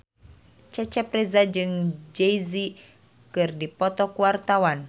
Cecep Reza jeung Jay Z keur dipoto ku wartawan